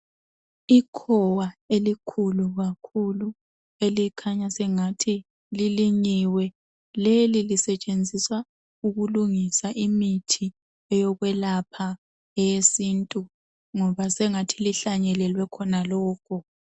Ikhowa elikhulu kakhulu elikhanya sengathi lilinyiwe leli lisetshenziswa ukulungisa imithi eyokwelapha eyesintu ngoba sengathi lihlanyelelwe khona lokhu